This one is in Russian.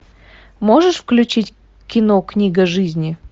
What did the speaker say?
можешь включить кино книга жизни